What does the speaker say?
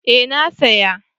Eh na saya